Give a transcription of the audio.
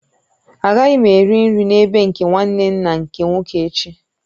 Agaghị m eri nri n'ebe nke nwanne nna nke nwoke echi